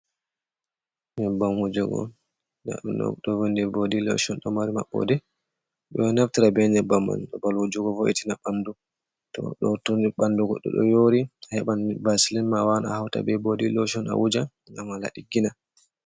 Nyebbam wujugo do vindi bodi loshon, ɗo mari maɓɓode, ɗo neftira be nyebbam man babal wujugo vo’itina bandu. to ɗo toni bandu goɗɗo yori a heban baselin ma wara hauta be bodi lochon a wuja gam a laɓa ɗiggina.